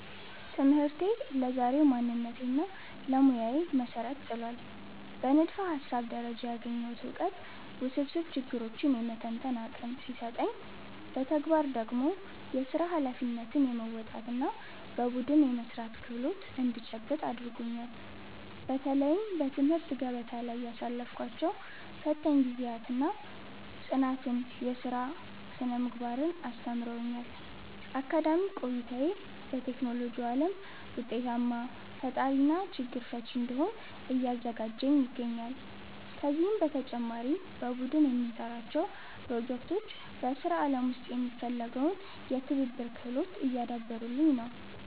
ትምህርቴ ለዛሬው ማንነቴና ለሙያዬ መሠረት ጥሏል። በንድፈ-ሐሳብ ደረጃ ያገኘሁት ዕውቀት ውስብስብ ችግሮችን የመተንተን አቅም ሲሰጠኝ፣ በተግባር ደግሞ የሥራ ኃላፊነትን የመወጣትና በቡድን የመሥራት ክህሎት እንድጨብጥ አድርጎኛል። በተለይም በትምህርት ገበታ ላይ ያሳለፍኳቸው ፈታኝ ጊዜያት ጽናትንና የሥራ ሥነ-ምግባርን አስተምረውኛል። አካዳሚክ ቆይታዬ በቴክኖሎጂው ዓለም ውጤታማ ፈጣሪና ችግር ፈቺ እንድሆን እያዘጋጀኝ ይገኛል። ከዚህም በተጨማሪ በቡድን የምንሠራቸው ፕሮጀክቶች በሥራ ዓለም ውስጥ የሚፈለገውን የትብብር ክህሎት እያዳበሩልኝ ነው።